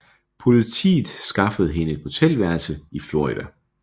Politiet skaffede hende et motelværelse i Florida